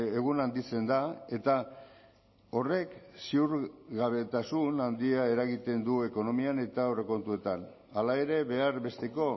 egun handitzen da eta horrek ziurgabetasun handia eragiten du ekonomian eta aurrekontuetan hala ere behar besteko